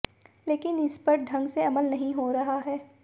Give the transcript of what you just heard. लेकिन इस पर ढंग से अमल नहीं हो रहा है